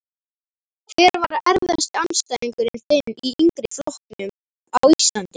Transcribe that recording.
Hver var erfiðasti andstæðingurinn þinn í yngri flokkum á Íslandi?